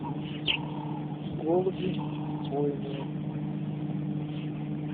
голуби бойные